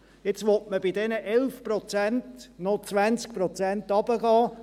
Jetzt will man bei diesen 11 Prozent noch 20 Prozent runtergehen.